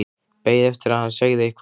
Beið eftir að hann segði eitthvað.